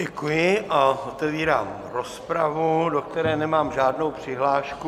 Děkuji a otevírám rozpravu, do které nemám žádnou přihlášku.